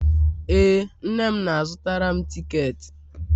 ee, nne m na-azutara m tiketi